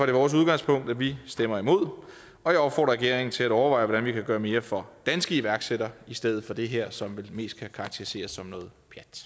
det vores udgangspunkt at vi stemmer imod og jeg opfordrer regeringen til at overveje hvordan vi kan gøre mere for danske iværksættere i stedet for det her som vel mest kan karakteriseres som noget